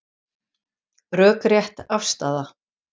Rökrétt afstaða